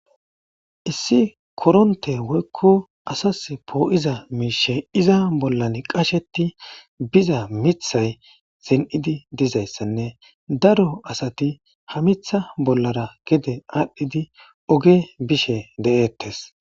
Issi koronte woykko asas poo'iza miishe iza bollan qasheti biza mithay sin'idi dizayssanne daro asati ha mitha bollara gede aadhdhidi oge bishe de'eettes.